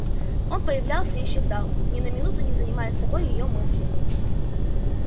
он появлялся и исчезал ни на минуту не занимая собой её мыслей